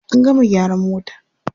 An gama gyaran mota.